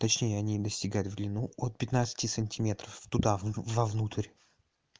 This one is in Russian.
точнее они достигают в длину от пятнадцати сантиметров туда в во внутрь